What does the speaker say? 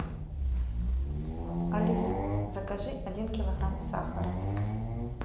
алиса закажи один килограмм сахара